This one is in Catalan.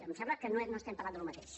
em sembla que no estem parlant del mateix